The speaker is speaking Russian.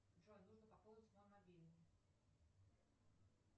джой нужно пополнить мой мобильный